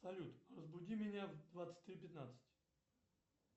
салют разбуди меня в двадцать три пятнадцать